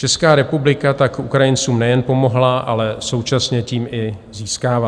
Česká republika tak Ukrajincům nejen pomohla, ale současně tím i získává.